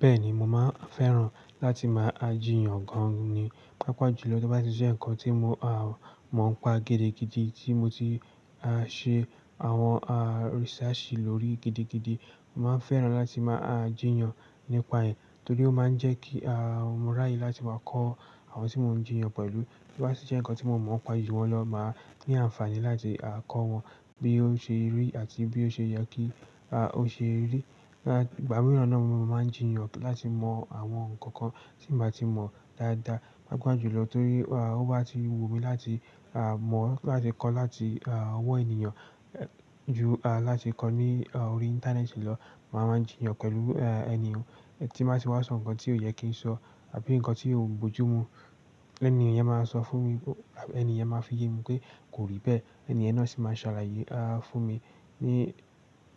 Bẹ́ẹ̀ni, mo máa ń fẹ́ràn láti máa jiyàn gan ni. Páapá jùlọ tó bá ti jẹ́ ǹkan tí mo mọ̀ ń pa gidi gidí tí mo ti a ṣe àwọn a research lórí gidigidi, mo máa ń fẹ́ràn láti máa á jiyàn nípa ẹ̀. Torí ó máa ń jẹ́ kí a mọ́ ráyè láti wá kọ́ àwọn tí mò ń jiyàn pẹ̀lú. To bá si jẹ́ ǹkan tí mò mọ̀ ń pa juwọn lọ́ máa ní àǹfààní láti kọ́ wọn bí ó ṣe rí àti bí ó ṣe yẹ kí ó ṣe rí. Ìgbà mìíràn náà mo máa ń jiyàn láti mọ àwọn ǹkan kan tí n bà ti mọ̀ dáadáa. Páapá jùlọ torí ó bá ti wù mí láti mọ̀, láti kọ́ láti ọwọ́ ènìyàn ju láti kọ́ ní orí Íńtánẹ́ẹ̀tì lọ. Màá máa ń jiyàn pẹ̀lú ènìyàn tí n bá ti wá sọ ǹkan tí ò yẹ kí n sọ àbí ǹkan tí ò bojú mu. Ènì yen máa sọ fún mi, ènì yen máa fi yé mi pé kò rí bẹ́ẹ̀. Ẹnì yen náà sì máa sàlàyé fún mi ní